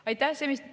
Aitäh!